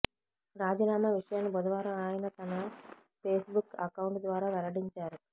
రాజీనామా విషయాన్ని బుధవారం ఆయన తన ఫేస్బుక్ అకౌంట్ ద్వారా వెల్లడించారు